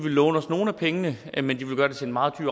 låne os nogle af pengene men de vil gøre det til en meget